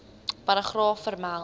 paragraaf vermeld